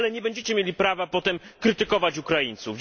ale nie będziecie mieli prawa potem krytykować Ukraińców.